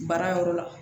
Baara yɔrɔ la